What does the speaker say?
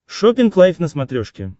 шоппинг лайф на смотрешке